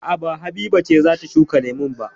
A'a ba Habiba ce za ta shuka lemun ba.